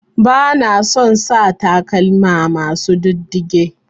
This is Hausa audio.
Bana son sa takalma masu ɗiddige.